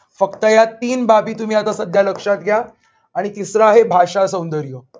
फक्त या तीन बाबी तुम्ही आता सध्या लक्षात घ्या. आणि तिसर आहे भाषासौंदर्य.